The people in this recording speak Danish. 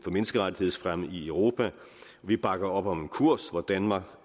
menneskerettighedsfremme i europa vi bakker op om en kurs hvor danmark